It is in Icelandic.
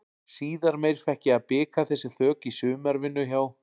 Síðar meir fékk ég að bika þessi þök í sumarvinnu hjá